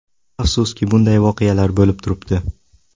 Afsuski bunday voqealar bo‘lib turibdi.